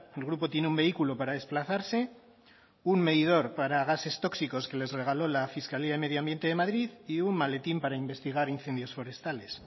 el grupo tiene un vehículo para desplazarse un medidor para gases tóxicos que les regaló la fiscalía de medio ambiente de madrid y un maletín para investigar incendios forestales